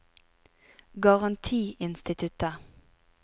garantiinstituttet